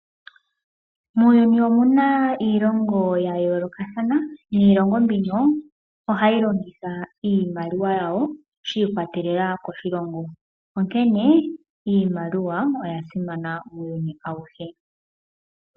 Muuyuni omuna iilongo ya yoolokathana . Niilongo mbino ohayi longitha iimaliwa yawo shi ikwatelela koshilongo, onkene iimaliwa oya simana uuyuni awuhe.